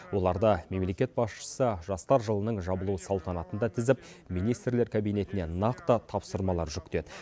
оларды мемлекет басшысы жастар жылының жабылу салтанатында тізіп министрлер кабинетіне нақты тапсырмалар жүктеді